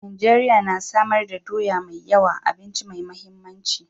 Najeriya na samar da doya mai yawa, abinci mai mahimmanci.